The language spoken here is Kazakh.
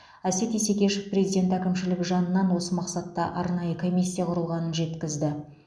әсет исекешев президент әкімшілігі жанынан осы мақсатта арнайы комиссия құрылғанын жеткізді